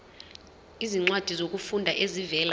izincwadi zokufunda ezivela